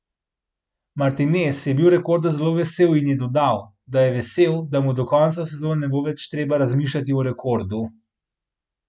Martinez je bil rekorda zelo vesel in je dodal, da je vesel, da mu do konca sezone ne bo več treba razmišljati o rekordu.